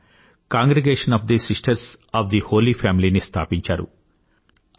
ఆవిడ Congregation of the Sisters of the Holy Family ని స్థాపించారు